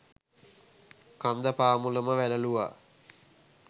කන්ද පාමුලම වැළලූවා.